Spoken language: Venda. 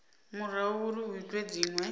murahu uri hu itwe dzinwe